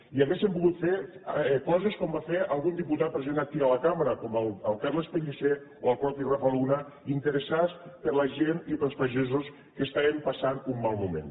i haurien pogut fer coses com va fer algun diputat present aquí a la cambra com el carles pellicer o el mateix rafa luna interessar se per la gent i pels pagesos que estaven passant un mal moment